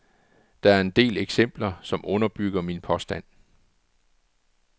Der er en del eksempler, som underbygger min påstand.